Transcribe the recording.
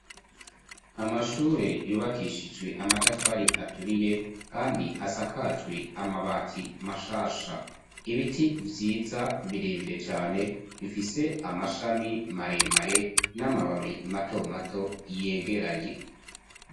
Amashure yubakishijwe amatafari aturiye kandi asakajwe amabati mashasha. Ibiti vyiza birebire cane bifise amashami maremare n'amababi mato mato yegeranye.